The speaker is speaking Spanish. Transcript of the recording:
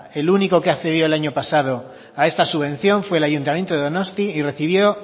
el único que ha accedido el año pasado a esta subvención fue el ayuntamiento de donostia y recibió